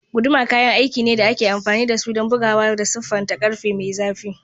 Guduma kayan aiki ne da ake amfani da su don buguwa da siffata ƙarfe mai zafi.